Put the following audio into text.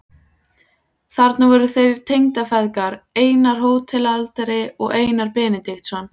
Þarna voru líka þeir tengdafeðgar, Einar hótelhaldari og Einar Benediktsson.